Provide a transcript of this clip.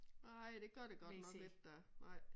Nej det gør det godt nok ikke da nej